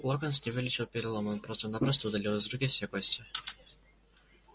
локонс не вылечил перелом он просто-напросто удалил из руки все кости